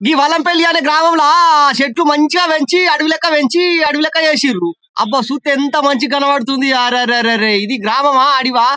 గి మదనపల్లి అనే గ్రామంలో చెట్లు మంచిగా పెంచి అడవి లెక్క పెంచి అడవి లెక్క చేసిండ్రు అబ్బా చూస్తే ఎంత మంచి కనబడుతుందో అరె అరె అరె అరె ఇది గ్రామము అడివా--